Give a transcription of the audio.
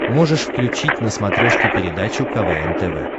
можешь включить на смотрешке передачу квн тв